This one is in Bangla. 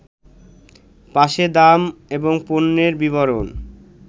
পাশে দাম এবং পণ্যের বিবরণ